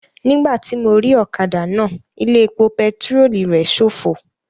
Nígbàtí mo rí ọ̀kadà náà, ilé epo pẹtirólù rẹ̀ ṣófo